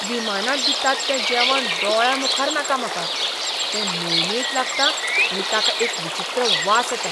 विमानांत दितात तें जेवण दोळ्यांमुखार नाका म्हाका. तें मिळमिळीत लागता आनी ताका एक विचित्र वास येता.